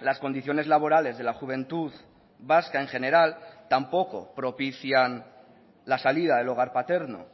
las condiciones laborales de la juventud vasca en general tampoco propician la salida del hogar paterno